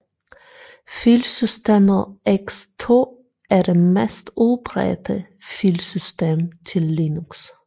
Filsystemet ext2 er det mest udbredte filsystem til Linux